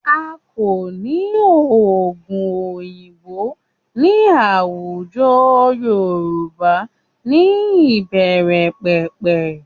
A kò ní oògùn òyìnbó ní àwùjọ Yorùbá ní ìbẹ̀rẹ̀pẹ̀pẹ̀